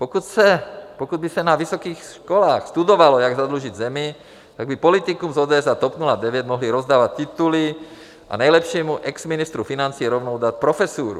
Pokud by se na vysokých školách studovalo, jak zadlužit zemi, tak by politikům z ODS a TOP 09 mohli rozdávat tituly a nejlepšímu exministru financí rovnou dát profesuru.